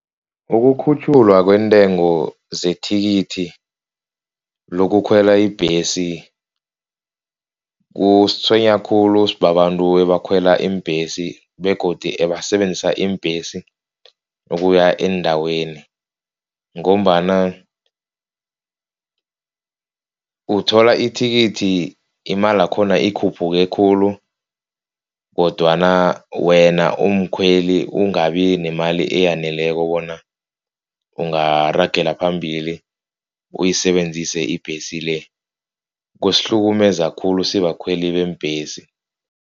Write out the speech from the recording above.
Ukukhutjhulwa kwentengo zethikithi lokukhwela ibhesi kusitshwenya khulu, sibabantu abakhwela iimbhesi begodu ebasebenzisa iimbhesi ukuya eendaweni, ngombana uthola ithikithi imali yakhona ikhuphuke khulu kodwana wena umkhweli ungabi nemali eyaneleko bona ungaragela phambili uyisebenzise ibhesi le. Kusihlukumeza khulu sibakhweli beembhesi.